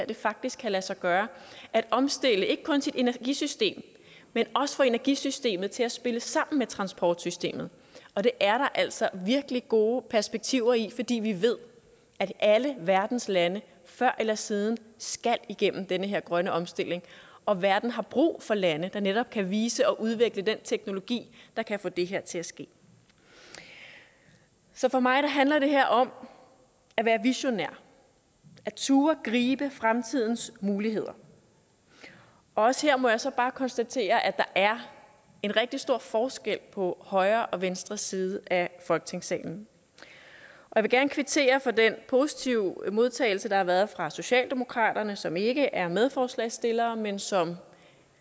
det faktisk kan lade sig gøre at omstille ikke kun sit energisystem men også få energisystemet til at spille sammen med transportsystemet og det er der altså virkelig gode perspektiver i fordi vi ved at alle verdens lande før eller siden skal igennem den her grønne omstilling og at verden har brug for lande der netop kan vise og udvikle den teknologi der kan få det her til at ske så for mig handler det her om at være visionær at turde gribe fremtidens muligheder også her må jeg så bare konstatere at der er en rigtig stor forskel på højre og venstre side af folketingssalen jeg vil gerne kvittere for den positive modtagelse der har været fra socialdemokratiets side som ikke er medforslagsstillere men som